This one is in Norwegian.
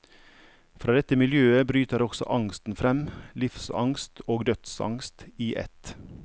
Fra dette miljøet bryter også angsten frem, livsangst og dødsangst i ett.